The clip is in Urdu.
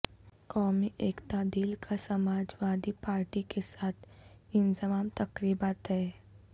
قومی ایکتا دل کا سماجوادی پارٹی کے ساتھ انضمام تقریبا طے